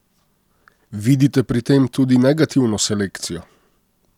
Vidite pri tem tudi negativno selekcijo?